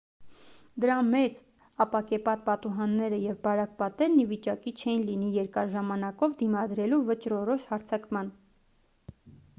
դրա մեծ ապակեպատ պատուհանները և բարակ պատերն ի վիճակի չէին լինի երկար ժամանակով դիմադրելու վճռորոշ հարձակման